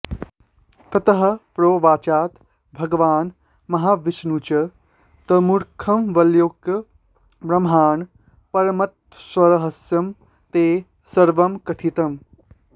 ततः प्रोवाचत् भगवान् महाविष्णुश्चतुर्मुखमवलोक्य ब्रह्मन् परमतत्त्वरहस्यं ते सर्वं कथितम्